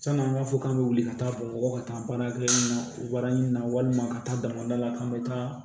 San'an b'a fɔ k'an bɛ wuli ka taa bamakɔ ka taa baarakɛ na baara ɲini na walima ka taa damadɔ la k'an bɛ taa